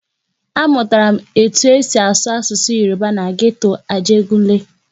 Amụtara m etu esi asụ Yoruba na geto Ajegunle.